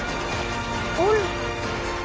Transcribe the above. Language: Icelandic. Úlfar